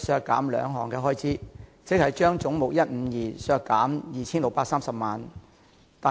該項修正案議決將總目152削減 2,630 萬元。